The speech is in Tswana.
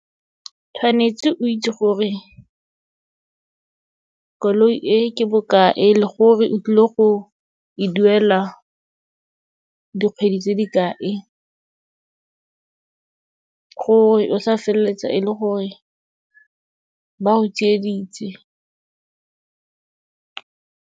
Tshwanetse o itse gore koloi e ke bokae le gore o tlile go e duela dikgwedi tse di kae, gore o sa feleletsa e le gore ba go tsieditse.